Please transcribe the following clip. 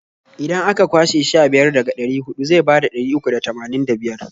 Idan a ka kwashe sha biyar daga ɗari huɗu zai bada ɗari uku da tamanin da biyar.